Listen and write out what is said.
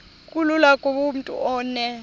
kulula kumntu onen